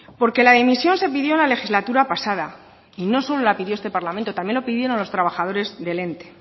porque la dimisión se pidió en la legislatura pasada y no solo la pidió este parlamento también lo pidieron los trabajadores del ente